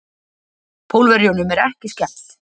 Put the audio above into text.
Pólverjunum er ekki skemmt.